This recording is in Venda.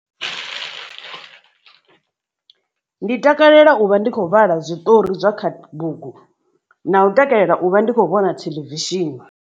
Ndi takalela u vha ndi kho vhala zwiṱori zwa kha bugu na u takalela u vha ndi kho vhona theḽevishini.